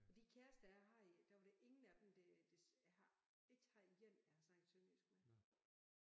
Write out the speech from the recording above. Og de kæreste jeg havde der var der ingen af dem der der jeg har ikke haft én jeg har snakket sønderjysk med